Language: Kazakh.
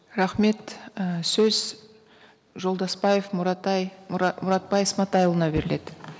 рахмет і сөз жолдасбаев мұратбай сматайұлына беріледі